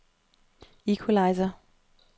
equalizer